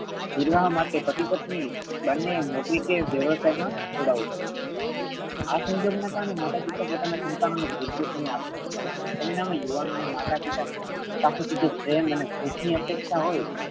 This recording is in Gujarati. વિવાહ માટે પતિ પત્ની બંને નોકરી કે વ્યવસાય મા જોડાવું પડે છે. આ સંજોગ ના કારણે માતા પિતા પોતાના સંતાનો ને પૂરતો સમય આપી સકતા નથી. પરિણામે યુવાનોને માતા પિતા પાસે થી જે પ્રેમ અને હૂંફ ની અપેક્ષા હોઈ.